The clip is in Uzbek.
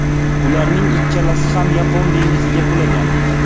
Ularning ikkalasi ham Yapon dengiziga qulagan.